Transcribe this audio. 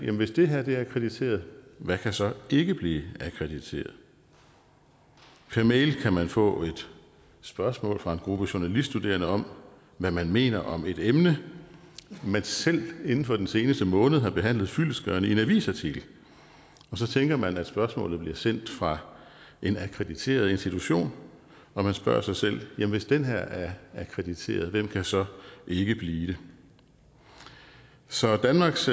at hvis det her er akkrediteret hvad kan så ikke blive akkrediteret per mail kan man få et spørgsmål fra en gruppe journaliststuderende om hvad man mener om et emne man selv inden for den seneste måneder har behandlet fyldestgørende i en avisartikel og så tænker man at spørgsmålet bliver sendt fra en akkrediteret institution og man spørger sig selv hvis den her er akkrediteret hvem kan så ikke blive det så danmarks